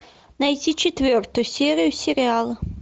найти четвертую серию сериала